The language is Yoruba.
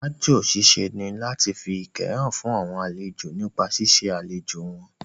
Aájò ṣiṣẹ́ ní láti fi ìkẹ́ hàn fún àwọn àlejò nípa ṣíṣe àlejò wọn